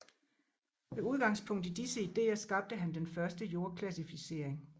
Med udgangspunkt i disse ideer skabte han den første jordklassificering